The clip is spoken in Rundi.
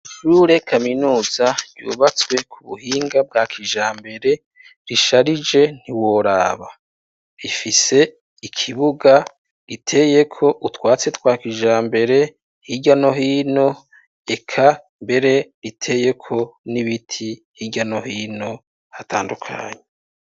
Ishure kaminuza yubatswe ku buhinga bwa kijambere risharije ntiworaba. Rifise ikibuga riteyeko utwatsi twa kijambere hirya no hino, eka mbere riteyeko n'ibiti hirya no hino hatandunye.